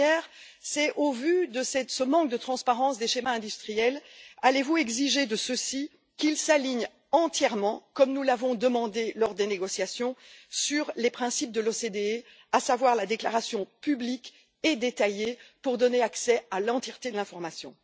Premièrement, au vu de ce manque de transparence des schémas industriels, allez vous exiger de ceux ci qu'ils s'alignent entièrement, comme nous l'avons demandé lors des négociations, sur les principes de l'OCDE, à savoir la déclaration publique et détaillée pour donner accès à l'entièreté de l'information?